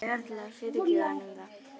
Hann myndi örugglega fyrirgefa honum það.